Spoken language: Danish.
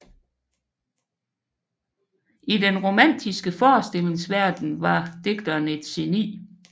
I den romantiske forestillingsverden var digteren et geni